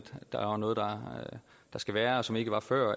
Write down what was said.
der er noget der skal være og som ikke var før